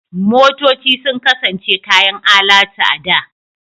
Motoci sun kasance kayan alatu a da.